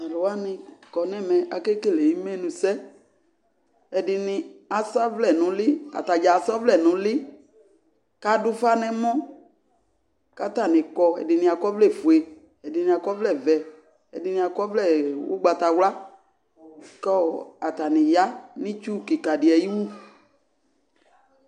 Talu wane kɔ nɛmɛ akele emenusɛƐdene aza vlɛ no uli, ata dza aza vlɛ no uli kado ufa nɛmɔ ka atane kɔ Ɛdene akɔ vlɛfue, ɛdene akɔ vlɛvɛ, ɛdrne akɔ vlɛ ugbatawla ko ata ne ya no itsu kika de ayiwu